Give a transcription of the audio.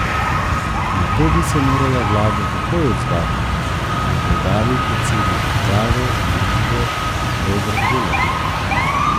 Na to bi se morala vlada takoj odzvati, je poudaril predsednik uprave družbe Robert Golob.